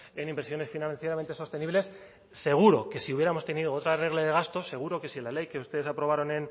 en inversiones financieramente sostenibles seguro que si hubiéramos tenido otra regla de gastos seguro que si la ley que ustedes aprobaron